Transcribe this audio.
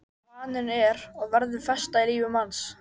Og vaninn er og verður festa í lífi manns.